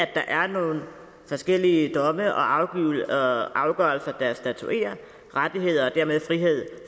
der er nogle forskellige domme og afgørelser der statuerer rettigheder og dermed frihed